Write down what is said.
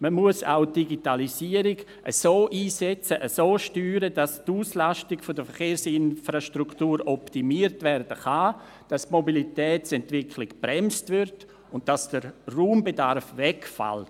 Man muss auch die Digitalisierung so einsetzen und so steuern, dass die Auslastung der Verkehrsinfrastruktur optimiert werden kann, die Mobilitätsentwicklung gebremst wird und der Raumbedarf wegfällt.